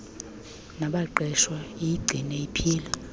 nabaqeshwa iyigcine iphila